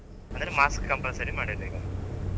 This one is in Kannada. ಅಂದ್ರೆ mask compulsory ಮಾಡಿದ್ರೀಗ.